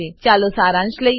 ચાલો સારાંશ લઈએ